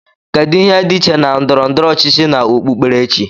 kedu ihe dị iche na ndọrọ ndọrọ ọchịchị na okpu kperechi